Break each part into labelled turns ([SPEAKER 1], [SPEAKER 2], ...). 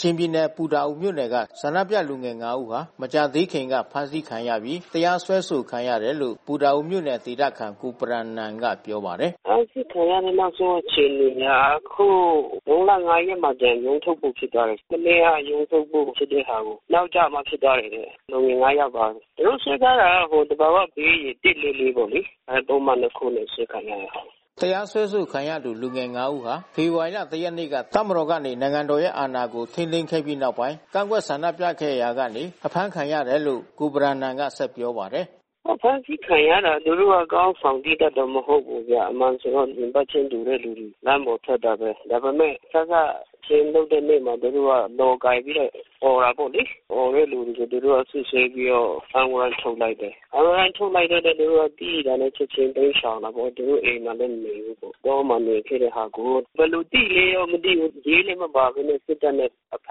[SPEAKER 1] ချင်ပြည်နယ် ပူတာအိုမြို့နယ်က ဆန္ဒပြလူငယ် ၅ ဦးဟာ မကြာသေးခင်က ဖမ်းဆီးခံရပြီး တရားစွဲဆိုခံရတယ်လို့ ပူတာအိုမြို့နယ်ဒေသခံ ကိုဘရမ်နန်ကပြောပါတယ်။ “ဖမ်းဆီး
[SPEAKER 2] ခံရတဲ့ နောက်ဆုံးအခြေအနေက အခုမေလ ၅ ရက်မှာ ရုံးထုတ်ဖို့ ဖြစ်သွားတယ်။ မနေ့က ရုံးထုတ်ဖို့ ဖြစ်တဲ့ဟာကို နောက်ကျမှဖြစ်သွားတယ်။ လူငယ် ၅ ယောက်ပါတယ်။ သူတို့ စွဲထားတာကသဘာဝဘေးရယ် ၁၄၄ ပေါ့လေ။ အဲဒီပုဒ်မနှစ်ခုနဲ့ အစွဲခံရတယ်။
[SPEAKER 1] ” တရားစွဲဆိုခံလူငယ် ၅ ဦးဟာ ဖေဖော်ဝါရီ ၁ ရက်နေ့က တပ်မတော်ကနေ နိုင်ငံတော်ရဲ့အာဏာကို ထိန်းသိမ်းခဲ့ပြီး နောက်ပိုင်း ကန့်ကွက်ဆန္ဒပြခဲ့ရာကနေ ဖေဖော်ဝါရီ ၂၀ ရက်နေ့ညမှာ အဖမ်းခံရတယ်လို့ ကိုဘရမ်နန်က ဆက်ပြောပါတယ်။ “အဖမ်းဆီး
[SPEAKER 2] ခံရတာ သူတို့သီးသန့်ခေါင်းဆောင်တော့ မဟုတ်ဘူး။ အမှန်ဆိုတော့ ရင်ဘတ်ချင်းတူတဲ့သူတွေ လမ်းပေါ်ထွက်တာပဲ။ ဒါပေမဲ့ စစချင်းလုပ်တဲ့နေ့မှာပဲ သူတို့က လော် ကိုင်ပြီးတော့ အော်တာပေါ့လေ။ အော်တဲ့သူတွေကို သူတို့က စစ်ဆေးပြီးတော့ ဖမ်းဝရမ်းထုတ်လိုက်တယ်။ ဖမ်းဝရမ်းထုတ်လုပ်တော့ သူတို့သိတာနဲ့ ချက်ချင်း တိမ်းရှောင်တာပေါ့။ သူတို့ အိမ်မှာလည်း မနေဘူးပေါ့။ တောမှာနေခဲ့တဲ့ဟာကို ဘယ်လိုသိလဲတော့ မသိဘူး။ ရဲလည်း မပါဘဲနဲ့ စစ်တပ်နဲ့ အဖ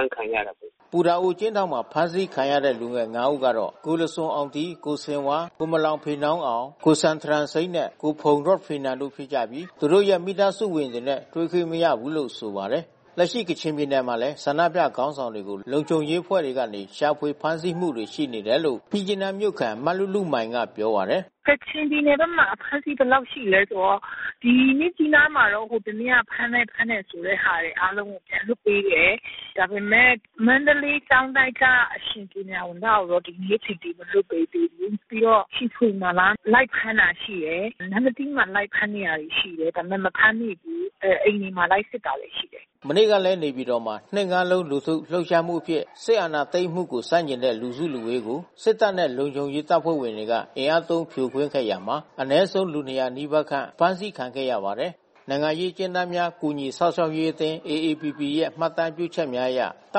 [SPEAKER 2] မ်းခံရတာပဲ။
[SPEAKER 1] ” ပူတာအိုအကျဉ်းထောင်မှာ ဖမ်းဆီးခံရတဲ့ လူငယ် ၅ ဦးကတော့ ကိုလဇွမ်အောင်ဒီး၊ ကိုဆင်ဝါး၊ ကိုမလောင်ဖေနောင်းအောင်၊ ကိုဇန်ထရမ်ဆိန်းနှင့် ကိုဖုန်ရော့ဖီနန်တို့ ဖြစ်ကြပြီး သူတို့ရဲ့ မိသားစုဝင်တွေနဲ့ တွေ့ခွင့်မရဘူးလို့ ဆိုပါတယ်။ လက်ရှိ ကချင်ပြည်နယ်မှာလည်း ဆန္ဒပြခေါင်းဆောင်တွေကို လုံခြုံအဖွဲ့တွေကနေ ရှာဖွေဖမ်းဆီးမှုတွေ ရှိနေတယ်လို့ မြစ်ကြီးနားမြို့ခံ မလုလုမိုင်ကပြောပါတယ်။ “ကချင်ပြည်နယ်ဘက်မှာ အဖမ်းဆီးဘယ်လောက်ရှိလဲဆိုတော့ ဒီမြစ်
[SPEAKER 3] ကြီးနားမှာ ဟိုတနေ့က ဖမ်းမယ်၊ ဖမ်းမယ်ဆိုတဲ့ဟာ အားလုံး ပြန်လွှတ်ပေးတယ်။ ဒါပေမဲ့ မန္တလေးကျောင်းတိုက်က အရှင်ပညာဝံသကိုတော့ ဒီနေ့အထိပြန်မလွှတ်ပေးသေးဘူး။ ပြီးတော့ ချီဗွေမှာလား၊ လိုက်ဖမ်းတာရှိတယ်။ နမ္မတီးမှာ လိုက်ဖမ်းနေတာရှိတယ်။ ဒါပေမဲ့ မဖမ်းမိဘူး။ အိမ်တွေမှာ လိုက်စစ်နေတာရှိတယ်။
[SPEAKER 1] ” မနေ့ကလည်း နေပြည်တော်မှာ နှစ်ငါးလုံး လူထုလှုပ်ရှားမှုအဖြစ် စစ်အာဏာသိမ်းမှုကို ဆန့်ကျင်တဲ့ လူစုလူဝေးကိုစစ်တပ်နဲ့ လုံခြုံရေးတပ်ဖွဲ့ဝင်တွေက အင်အားသုံး ဖြိုခွင်းခဲ့တာမှာ အနည်းဆုံး လူ ၂၀၀ နီးပါးခန့် အဖမ်းခံခဲ့ရပါတယ်။ နိုင်ငံရေးအကျဉ်းသားများ ကူညီစောင့်ရှောက်ရေးအသင်း ရဲ့ မှတ်တမ်းပြုချက်များအရ တ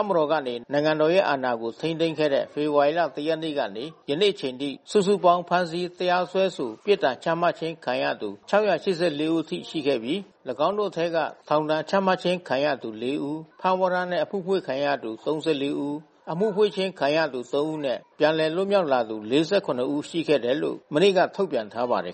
[SPEAKER 1] ပ်မတော်ကနေ နိုင်ငံတော်ရဲ့ အာဏာကိုထိန်းသိမ်းခဲ့တဲ့ ဖေဖော်ဝါရီလ ၁ ရက်နေ့ကနေ ယနေ့အချိန်ထိ စုစုပေါင်း ဖမ်းဆီး၊ တရားစွဲဆို၊ ပြစ်ဒဏ်ချမှတ်ခြင်းခံထားရသူ ၆၈၄ ဦးထိရှိခဲ့ပြီး ၎င်းတို့အထဲက ထောင်ဒဏ်ချမှတ်ခြင်းခံထားရသူ ၄ ဦး၊ ဖမ်းဝရမ်းနှင့် အမှုဖွင့်ခြင်းခံထားရသူ ၃၄ ဦး၊ အမှုဖွင့်ခြင်းခံထားရသူ ၃ ဦးနဲ့ ပြန်လည် လွတ်မြောက်လာသူ ၄၇ ဦးရှိခဲ့တယ်လို့ မနေ့က ထုတ်ပြန်ထားပါတယ်